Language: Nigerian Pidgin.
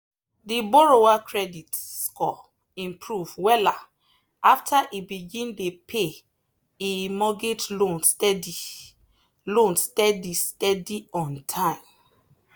the borrower credit score improve wella after e begin dey pay e mortgage loan steady loan steady steady on time.